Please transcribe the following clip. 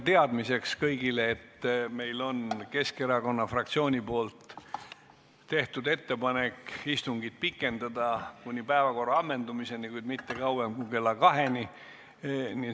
Ütlen kõigile teadmiseks, et Keskerakonna fraktsioon on teinud ettepaneku istungit pikendada kuni päevakorra ammendumiseni, kuid mitte kauem kui kella 14-ni.